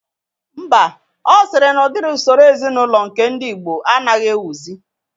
Mba, ọ sịrị na udiri usoro ezinaụlọ nke ndi igbo anaghị ewuzi